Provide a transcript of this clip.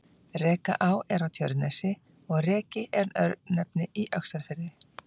Rekaá er á Tjörnesi og Reki er örnefni í Öxarfirði.